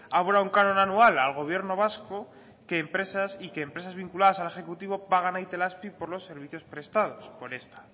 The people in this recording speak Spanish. abona un canon anual al gobierno vasco y que empresas vinculadas al ejecutivo para a itelazpi por los servicios prestados por esta